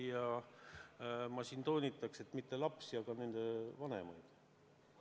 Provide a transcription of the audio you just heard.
Aga ma toonitan, et nii ei kohelda mitte lapsi, vaid nende vanemaid.